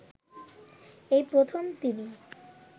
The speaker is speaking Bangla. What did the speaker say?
এই প্রথম তিনি